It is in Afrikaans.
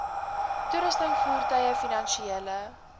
toerusting voertuie finansiële